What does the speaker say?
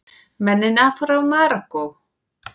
Mennina frá Marokkó!